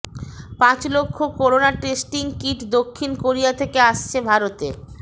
পাঁচ লক্ষ corona testing kit দক্ষিণ কোরিয়া থেকে আসছে ভারতে